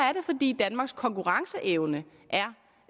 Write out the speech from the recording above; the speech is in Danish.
er det fordi danmarks konkurrenceevne